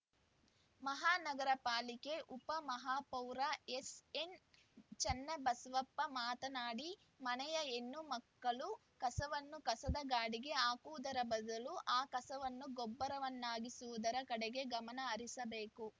ಮಹಾನಗರ ಪಾಲಿಕೆ ಉಪ ಮಹಾಪೌರ ಎಸ್‌ಎನ್‌ ಚನ್ನಬಸವಪ್ಪ ಮಾತನಾಡಿ ಮನೆಯ ಹೆಣ್ಣು ಮಕ್ಕಳು ಕಸವನ್ನು ಕಸದ ಗಾಡಿಗೆ ಹಾಕುವುದರ ಬದಲು ಆ ಕಸವನ್ನು ಗೊಬ್ಬರವನ್ನಾಗಿಸುವುದರ ಕಡೆಗೆ ಗಮನಹರಿಸಬೇಕು